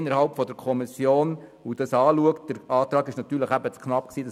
Man soll in der Kommission nochmals in die Details gehen und es nochmals anschauen.